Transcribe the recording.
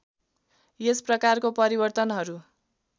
यस प्रकारको परिवर्तनहरू